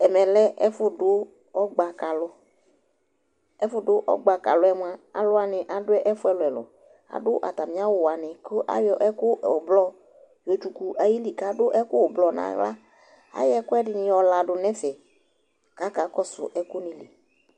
Ɛmɛ lɛ ɛfʋdʋ ɔgba ka alʋ Ɛfʋdʋ ɔgba ka alʋ yɛ mʋa, alʋ wanɩ adʋ ɛfʋ ɛlʋ-ɛlʋ Adʋ atamɩ awʋ wanɩ kʋ ayɔ ɛkʋ ʋblɔ yɔtsuku ayili kʋ adʋ ɛkʋ ʋblɔ nʋ aɣla Ayɔ ɛkʋɛdɩnɩ yɔladʋ nʋ ɛfɛ kʋ akakɔsʋ ɛkʋnɩ li